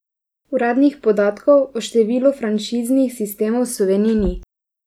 Uradnih podatkov o številu franšiznih sistemov v Sloveniji ni.